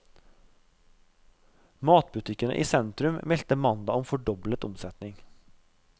Matbutikkene i sentrum meldte mandag om fordoblet omsetning.